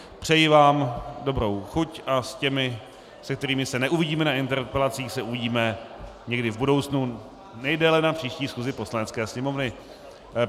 Přeji vám dobrou chuť a s těmi, s kterými se neuvidíme na interpelacích, se uvidíme někdy v budoucnu, nejdéle na příští schůzi Poslanecké sněmovny.